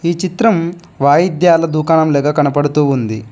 ఈ చిత్రం వాయిద్యాల దుకాణం లాగ కనపడుతూ ఉంది.